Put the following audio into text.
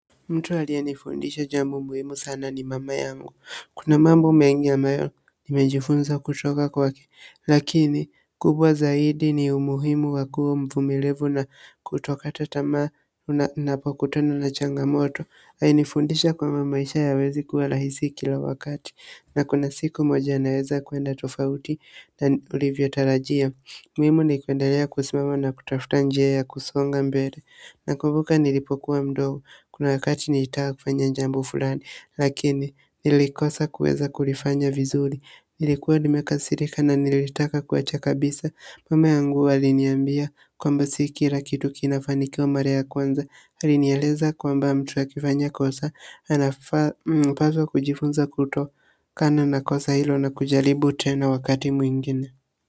Mtu aliye nifundisha jambu muhimu sana ni mama yangu, kuna mambo mengi ya ambayo nimejifunza kutoka kwake, lakini kubwa zaidi ni umuhimu wakuwu mvumilivu na kutokata tamaa unapokutana na changamoto, alinifundisha kwamba maisha hayawezi kuwa rahisi kila wakati, na kuna siku moja yanaweza kuenda tofauti na ulivyotalajia. Muhimu nikuendalea kusimama na kutafuta njia ya kusonga mbele. Na kumbuka nilipokuwa mdogo. Kuna wakati nilitaka kufanya jambo fulani. Lakini nilikosa kuweza kulifanya vizuri. Nilikuwa nimekasirika na nilitaka kuacha kabisa. Mama yangu aliniambia kwamba si kila kitu kina fanikiwa mara ya kwanza. Alinieleza kwamba mtu akifanya kosa. Anafaa anapaswa kujifunza kutokana na kosa hilo na kujaribu tena wakati mwingine.